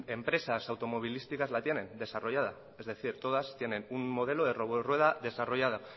empresas automovilísticas la tienen desarrollada es decir todas tienen un modelo de robo rueda desarrollada